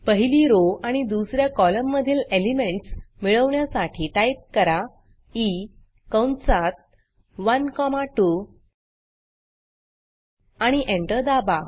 पहिली rowरो आणि दुस या कॉलम मधील एलिमेंटस मिळवण्यासाठी टाईप करा ई कंसात 1 कॉमा 2 आणि एंटर दाबा